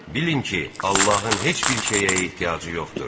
Bilin ki, Allahın heç bir şeyə ehtiyacı yoxdur.